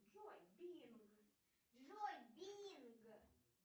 джой бинг